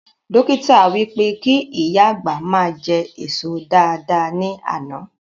Dọ́kítà wí pé kí ìyá àgbà ma jẹ èso dáadáa ní àná